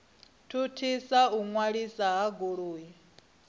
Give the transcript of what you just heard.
thuthisa u ṅwaliswa ha goloi